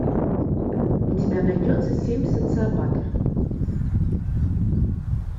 у тебя найдется семь социопатов